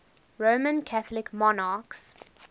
roman catholic monarchs